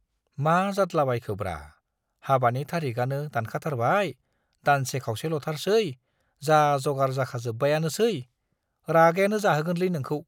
मा जाद्लाबायखोब्रा, हाबानि तारिखआनो दानखाथारबाय, दानसे खावसेल'थारसै, जा जगार जाखाजोब्बायानोसै - रागायानो जाहोगोनलै नोंखौ?